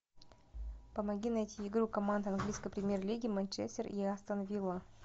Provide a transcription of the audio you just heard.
помоги найти игру команд английской премьер лиги манчестер и астон вилла